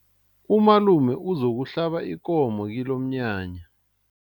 Umalume uzokuhlaba ikomo kilomnyanya.